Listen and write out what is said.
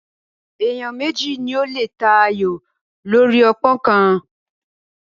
Ènìyàn méjì ni ó lè ta ayò lórí ọpọ́n kan